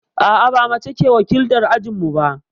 A'a, ba mace ke wakiltar ajinmu ba.